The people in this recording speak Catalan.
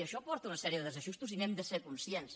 i això porta una sèrie de desajustos i n’hem de ser conscients